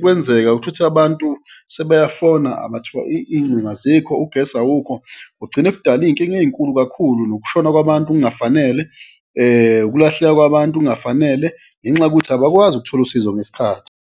kwenzeka shuti abantu sebayafona iy'ngcingo azikho, ugesi awukho, kugcine kudala iy'nkinga ey'nkulu kakhulu, nokushona kwabantu kungafanele, ukulahleka kwabantu kungafanele ngenxa yokuthi abakwazi ukuthola usizo ngesikhathi.